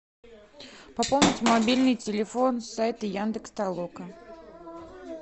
пополнить мобильный телефон с сайта яндекс толока